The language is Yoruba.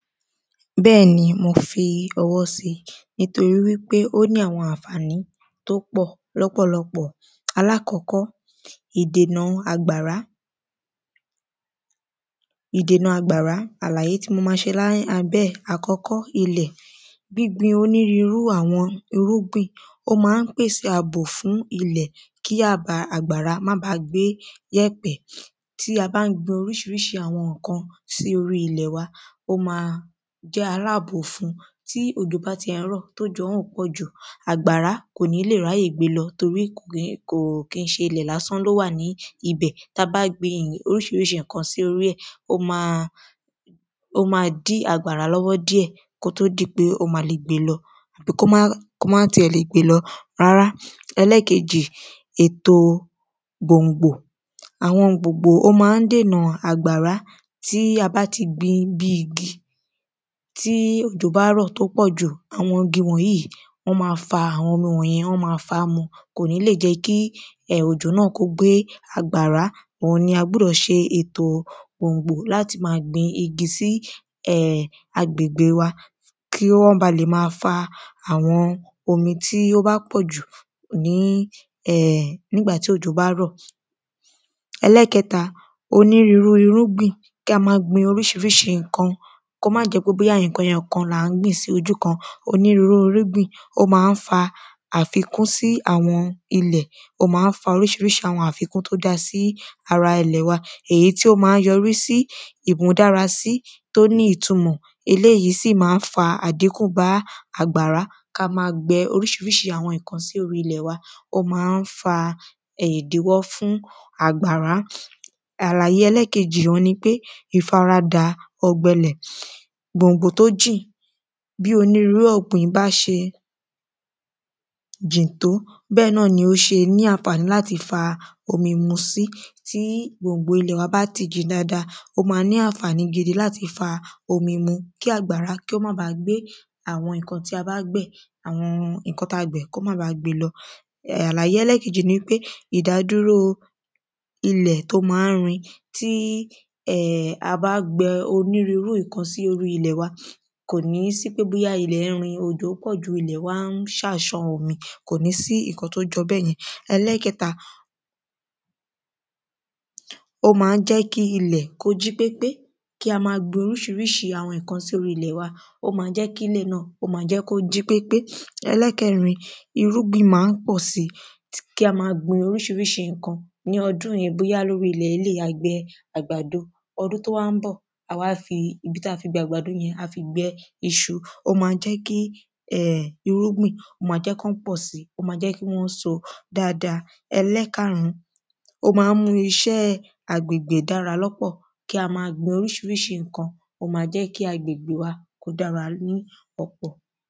Bẹ́ẹ̀ni mo fi ọwọ́ sí nítorí wípé ó ní àwọn ànfàní tó pọ̀ lọ́pọ̀lọpọ̀ alákọ́kọ́ ìdènà àgbàrá lákọ́kọ́ ìdènà àgbàrá àlàyé tí mo ma ṣe ní abẹ́ ẹ̀ àkọ́kọ́ ilẹ̀ gbíngbin onírúrú àwọn irùgbìn ó má ń pèsè àbò fún ilẹ̀ kí àbà àgbárá má bá gbé gbé yẹ̀pẹ̀ tí a bá ń gbin oríṣiríṣi àwọn nǹkan sí orí ilẹ̀ jẹ́ alábò fún tí òjò bá ti ẹ̀ ń rọ̀ tí òjò ọ̀hún ò pọ̀jù àgbàrá kò ní lè ráyè gbé lọ torí kìí ṣe ilẹ̀ lásán ló wà ní ibẹ̀ tá bá ń gbin oríṣiríṣi nǹkan sí orí ẹ̀ ó má ó má dí àgbàrá lọ́wọ́ díẹ̀ kó tó di pé ó má le gbé lọ kó má kó má ti ẹ̀ le gbé lọ rárá ètò gbòǹgbò ó má ń dènà àgbàrá tí a bá ti gbin bí igi tí òjò bá rọ̀ tó pọ̀ jù àwọn igi wọ̀nyìí wọ́n má fa àwọn omi wọ̀nyẹn wọ́n má fàá mu kò ní lè jẹ́ kí òjò náà gbé àgbàrá òhùn náà ni á gbúdọ̀ ṣètò gbòǹgbò láti má gbin igi sí agbègbè wa kí wọ́n le má bá fa àwọn omi tí wọ́n bá pọ̀jù ní um nígbà tí òjò bá rọ̀. Ẹlẹ́ẹ̀kẹta onírúrú irúgbìn kó má jẹ́ pé nǹkan ẹyọkan là ń gbìn sí ojú kan onírúrú irúgbìn ó má ń fa àfikún sí àwọn ilẹ̀ ó má ń fa oríṣiríṣi àfikún tó já sí ara ilẹ̀ wa èyí tí ó má ń yọrí sí ìmúdára tí ó ní ìtumọ̀ eléèyí sì má ń fa àdíkù bá ká má gbẹ oríṣiriṣi àwọn nǹkan sí orí ilẹ̀ wa ó má ń fa ìdíwọ́ fún àgbàrá. Àlàyé ẹlẹ́ẹ̀kejì òhun nipé ìfaradà ọ̀gbẹlẹ̀ gbòǹgbò tó jìn bí onírúrú ọ̀gbìn bá ṣe jì tó bẹ́ẹ̀ ni o ṣe ní ànfàní láti tí gbòngbò ilẹ̀ wa bá ti jìn dáada ó má ní ànfàní láti fa omi ni kí àgbàrá kí ó má gbé òhun tí a bá gbẹ̀ àwọn nǹkan tí a gbẹ̀ kó má ba gbé lọ. Àlàyé ẹlẹ́ẹ̀kejì òhun nipé ìdádúró ilẹ̀ tó má n rin tí a bá gbin onírúrú nǹkan sí orí ilẹ̀ wa kò ní sí wípé bóyá ilẹ̀ ń rin òjò pọ̀ jù ilẹ̀ wá ṣá ń san omi kò ní sí nǹkan tó jọ bẹ́yẹn. Ẹlẹ́ẹ̀kẹta ó má ń jẹ́ kí ilẹ̀ kí ó jí pépé kí a má gbin oríṣiríṣi àwọn nǹkan sí orí ilẹ̀ wa ó má ń jẹ́ kílẹ̀ náà kó jí pépé. Ẹlẹ́ẹ̀kẹrin irúgbìn má ń pọ̀ sí kí a má gbin oríṣiríṣi nǹkan ní ọdún yìí bóyá ní orí ilẹ̀ eléèyí a gbẹ àgbàdo ọdún tó wá ń bọ̀ ilẹ̀ tá fi gbẹ àgbàdo yẹn a wá fi gbẹ iṣu ó má ń jẹ́ kí um irúgbìn ó má jẹ́ kí wọ́n pọ̀ sí ó má jẹ́ kí wọ́n so dáada Ẹlẹ́ẹ̀karùn ó má ń mú iṣẹ́ agbègbè dára lọ́pọ̀ kí a má gbin oríṣiríṣi nǹkan ó má ń jẹ́ kí agbègbè wa dára ní ọ̀pọ̀